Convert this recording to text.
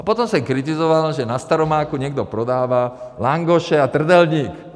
A potom jsem kritizoval, že na Staromáku někdo prodává langoše a trdelník.